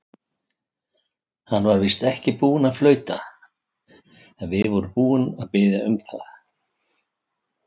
Hann var víst ekki búinn að flauta, en við vorum búnir að biðja um það.